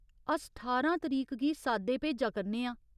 अस ठारां तरीक गी साद्दे भेजा करने आं।